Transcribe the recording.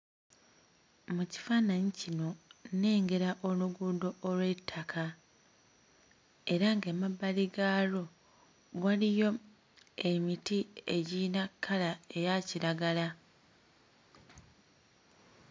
Mu kifaananyi kino nnengera oluguudo olw'ettaka era ng'emabbali gaalwo waliyo emiti egiyina kkala eya kiragala.